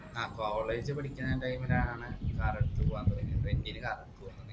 ആഹ് college പഠിക്കാണ time ലാണ് car എടുത്ത് പോവാൻ തൊടങ്ങിയത് rent ന് car എടുത്ത് പോവാൻ തൊടങ്ങിയത്